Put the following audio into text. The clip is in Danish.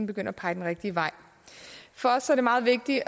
begyndt at pege den rigtige vej for os er det meget vigtigt